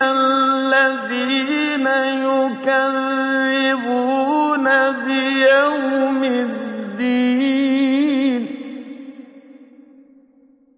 الَّذِينَ يُكَذِّبُونَ بِيَوْمِ الدِّينِ